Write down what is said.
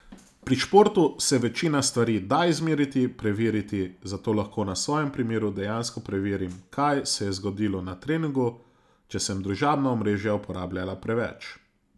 Pri športu se večina stvari da izmeriti, preveriti, zato lahko na svojem primeru dejansko preverim, kaj se je zgodilo na treningu, če sem družabna omrežja uporabljala preveč.